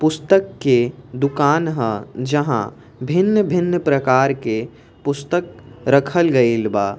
पुस्तक के दुकान ह जहाँ भिन्न-भिन्न प्रकार के पुस्तक रखल गईल बा।